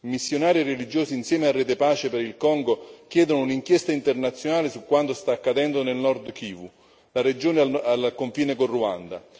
I missionari e religiosi, insieme a Rete Pace per il Congo, chiedono un'inchiesta internazionale su quanto sta accadendo nel Nord Kivu, la regione al confine col Ruanda.